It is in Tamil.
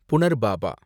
புனர்பாபா